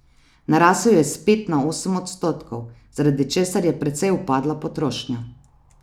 Narasel je s pet na osem odstotkov, zaradi česar je precej upadla potrošnja.